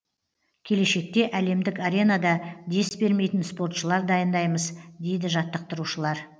келешекте әлемдік аренада дес бермейтін спортшылар дайындаймыз дейді жаттықтырушылар